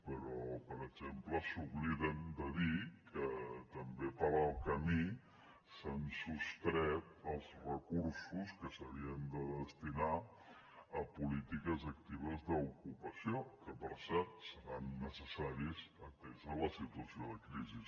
però per exemple s’obliden de dir que també pel camí s’han sostret els recursos que s’havien de destinar a polítiques actives d’ocupació que per cert seran necessaris atesa la situació de crisi